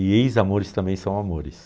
E ex-amores também são amores.